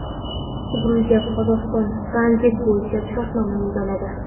Gruziya va Qozog‘iston tranzit bo‘yicha shartnoma imzoladi.